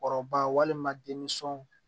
Kɔrɔba walima denmisɛnw